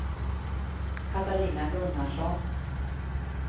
Katarina Gunnarsson